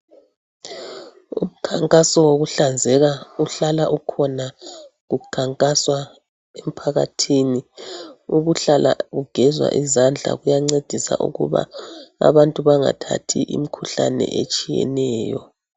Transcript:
Umkhankaso wokuhlanzeka uhlala ukhona kukhankaswa emphakathini. Ukuhlala ugeza izandla kuyancedisa ukuba abantu bangathathi imikhuhlane etshiyeneyo.